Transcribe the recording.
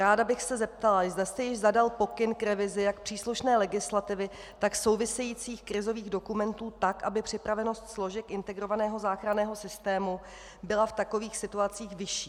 Ráda bych se zeptala, zda jste již zadal pokyn k revizi jak příslušné legislativy, tak souvisejících krizových dokumentů tak, aby připravenost složek integrovaného záchranného systému byla v takových situacích vyšší.